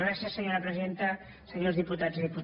gràcies senyora presidenta senyors diputats i diputades